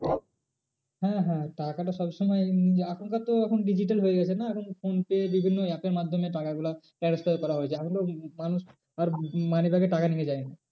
হ্যাঁ হ্যাঁ টাকাটা সব সময় আসল কথা তো এখন digital হয়ে গেছে না এখন ফোন পে বিভিন্ন app এর মাধ্যমে টাকা গুলো transfer করা হয়ে যায়। এখন তো মানুষ আর money bag এ টাকা নিয়ে যায়নি।